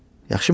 Yaxşımı?